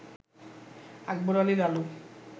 Akbar Ali Lalu